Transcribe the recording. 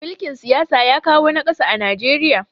mulikin siyasa ya kawo nakasu a Najeriya